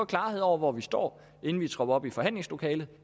klarhed over hvor vi står inden vi tropper op i forhandlingslokalet